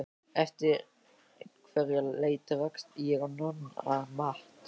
Eftir einhverja leit rakst ég á Nonna Matt.